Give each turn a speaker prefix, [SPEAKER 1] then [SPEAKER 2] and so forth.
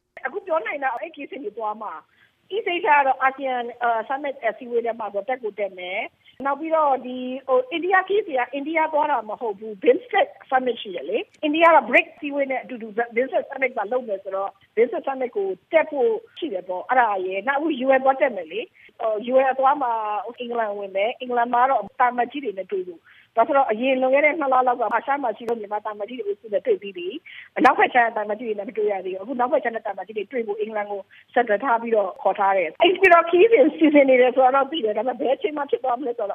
[SPEAKER 1] “အခုပြောနိုင်တာကတော့ အဲဒီခရီးစဉ်တွေသွားမှာ။ East Asia ကတော့ ASEAN Summit အစည်းအဝေးထဲမှာဆိုတော့ တက်ကို တက်မယ်၊ နောက်ပြီးတော့ အိန္ဒိယ ခရီးစဉ်က အိန္ဒိယသွားတာမဟုတ်ဘူး၊ BIMSTEC Summit ရှိတယ်လေ။ အိန္ဒိယက BRICS အစည်းအဝေးနဲ့အတူတူ BIMSTEC Summit ပါ လုပ်မယ်ဆိုတော့ BIMSTEC Summit ကိုတက်ဖို့ရှိတယ်ပေါ့၊ အဲဒါရယ်… “နောက် UN သွားတက်မယ်လေ၊ UN အသွားမှာ အင်္ဂလန်ဝင်မယ်၊ အင်္ဂလန်မှာ ကတော့ သံအမတ်ကြီးတွေနဲ့တွေ့ဖို့၊ ဘာလို့လည်း ဆိုတော့ အရင် လွန်ခဲ့ တဲ့ နှစ်လလောက်က အာရှမှာရှိတဲ့ မြန်မာသံအမတ်ကြီးတွေအုပ်စုနဲ့ တွေ့ပြီးပြီ၊ အနောက်ဘက်ခြမ်းက သံအမတ်ကြီးတွေနဲ့ မတွေ့ရသေးတော့ အခု အနောက် ဘက်ခြမ်းက သံအမတ်ကြီးတွေနဲ့တွေ့ဖို့ အင်္ဂလန်ကို center ထားပြီးတော့ ခေါ်ထား တယ်။ “အိမ်ဖြူတော်ခရီးစဉ် စီစဉ်နေတယ်ဆိုတာတော့ သိတယ်
[SPEAKER 2] ၊ ဒါပေမဲ့ ဘယ်အချိန် မှာဖြစ်သွားမလဲဆိုတ